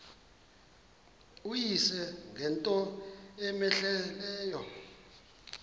uyise ngento cmehleleyo